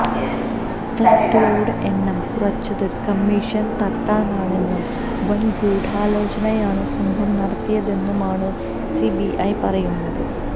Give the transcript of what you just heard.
ഫ്ളാറ്റുകളുടെ എണ്ണം കുറച്ചത് കമ്മീഷൻ തട്ടാനാണെന്നും വൻ ഗുഢാലോചനയാണ് സംഘം നടത്തിയതെന്നുമാണ് സിബിഐ പറയുന്നത്